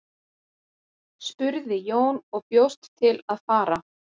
spurði Jón og bjóst til að fara.